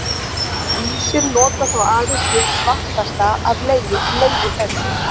Ýmsir nota þó aðeins hið svartasta af legi þessum.